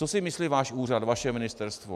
Co si myslí váš úřad, vaše ministerstvo?